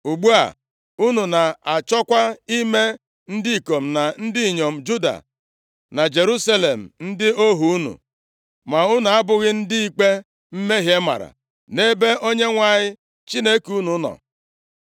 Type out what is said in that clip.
Ugbu a, unu na-achọkwa ime ndị ikom na ndị inyom Juda na Jerusalem ndị ohu unu? Ma unu abụghị ndị ikpe mmehie mara nʼebe Onyenwe anyị Chineke unu nọ?